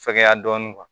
Fɛgɛya dɔɔnin